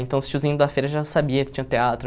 Então, os tiozinhos da feira já sabiam que tinha teatro.